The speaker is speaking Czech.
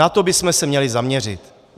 Na to bychom se měli zaměřit.